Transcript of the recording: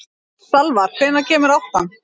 Salvar, hvenær kemur áttan?